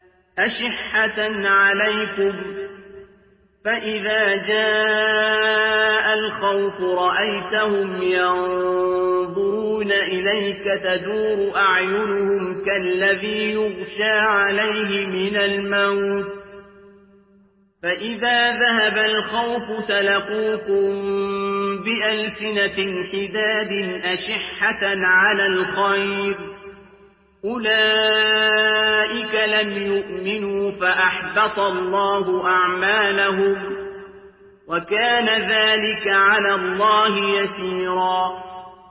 أَشِحَّةً عَلَيْكُمْ ۖ فَإِذَا جَاءَ الْخَوْفُ رَأَيْتَهُمْ يَنظُرُونَ إِلَيْكَ تَدُورُ أَعْيُنُهُمْ كَالَّذِي يُغْشَىٰ عَلَيْهِ مِنَ الْمَوْتِ ۖ فَإِذَا ذَهَبَ الْخَوْفُ سَلَقُوكُم بِأَلْسِنَةٍ حِدَادٍ أَشِحَّةً عَلَى الْخَيْرِ ۚ أُولَٰئِكَ لَمْ يُؤْمِنُوا فَأَحْبَطَ اللَّهُ أَعْمَالَهُمْ ۚ وَكَانَ ذَٰلِكَ عَلَى اللَّهِ يَسِيرًا